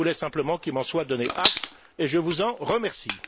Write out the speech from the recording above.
Je voulais simplement qu'il m'en soit donné acte et je vous en remercie.